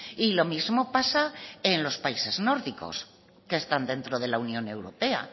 y lo mismo pasa en los países nórdicos que están dentro de la unión europea